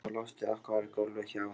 Og loftið okkar var gólfið hjá